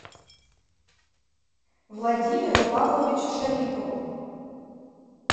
владимиру павловичу шарипову